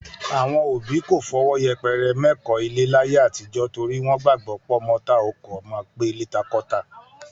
Àwọn òbí kò fọwọ́ yẹpẹrẹ mẹ́kọ̀ọ́-ilé láyé àtijọ́ torí wọ́n gbàgbọ́ pọ́mọ tá ò kọ́ máa gbélé ta kọ́ tà